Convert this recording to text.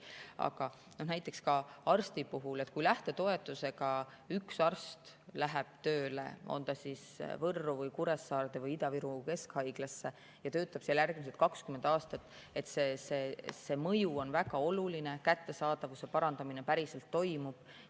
Aga näiteks ka arstide puhul on nii, et kui üks arst läheb lähtetoetusega tööle Võrru või Kuressaarde või Ida-Viru Keskhaiglasse ja töötab seal järgmised 20 aastat, siis on see mõju väga oluline, kättesaadavuse parandamine päriselt toimub.